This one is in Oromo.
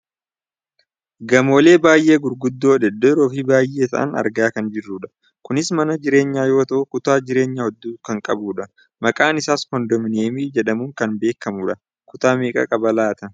Gamoolee baayyee gurguddoo, dhedheeroo fi baayyee ta'an argaa kan jirrudha. Kunis mana jireenyaa yoo ta'u kutaa jireenyaa hedduu kan qabudha. Maqaan isaas koondominiyeemii jedhamuun kan beekkamudha. Kutaa meeqa qaba laata?